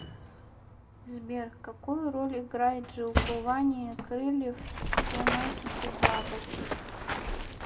сбер какую роль играет жилкование крыльев в систематике бабочек